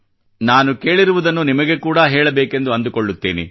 ನಾನು ಕೇಳಿರುವುದನ್ನು ನಿಮಗೆ ಕೂಡಾ ಹೇಳಬೇಕೆಂದು ಅಂದುಕೊಳ್ಳುತ್ತೇನೆ